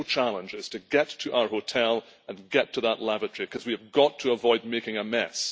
The real challenge is to get to our hotel and get to that lavatory because we have got to avoid making a mess.